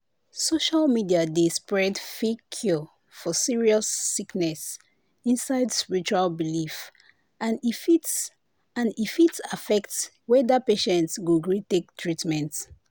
social media dey spread fake cure for serious sickness inside spiritual belief and e fit and e fit affect whether patient go gree take treatment.